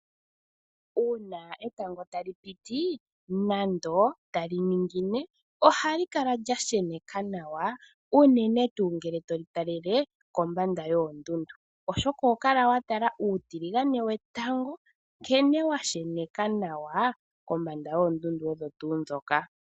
Uuna etango tali piti nenge tali ningine ohali kala lya sheneka nawa unene ngele to li talele kombanda yoondundu, oshoka oho kala wa tala uutiligane wetango nkene wa sheneka nawa kombanda yoondundu odho tuu ndhoka.